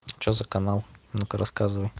что за канал а ну ка рассказывай